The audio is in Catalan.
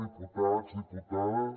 diputats diputades